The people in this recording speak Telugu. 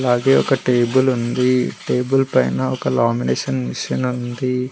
అలాగే ఒక టేబుల్ ఉంది టేబుల్ పైన ఒక లామినేషన్ మిషిన్ ఉంది.